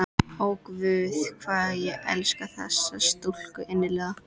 Ó, guð, hvað ég elska þessa stúlku innilega!